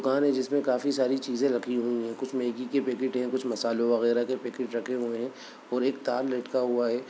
दुकान है जिसमे काफी सारी चीज़े रखी हुई है कुछ मैगी के पैकेट है कुछ मसालों वगेरा के पैकेट रखे हुए हैं और एक तार लटका हुआ है।